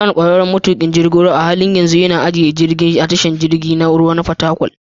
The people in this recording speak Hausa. Dan, ƙwararren matuƙin jirgin ruwa, a halin yanzu yana ajiye jirgi a tashar jirgin ruwa na Fatakwal.